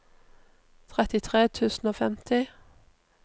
trettitre tusen og femti